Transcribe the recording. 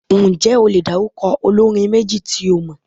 Ǹjẹ́ o lè dárúkọ olórin méjì tí ó mọ?